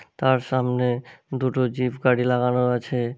তার সামনে দুটো জিফ গাড়ি লাগানো আছে।